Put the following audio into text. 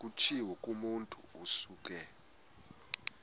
kutshiwo kumotu osuke